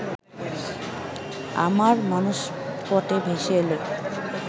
আমার মানসপটে ভেসে এলো